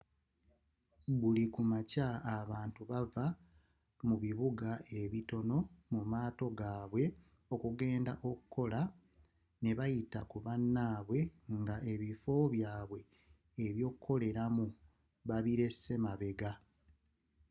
buli ku makya abantu bava mu bibuga ebitono mu matooka g’abwe okugenda okola n’ebayita ku banabwe nga ebifo byabwe ebyokoleramu babilese mabega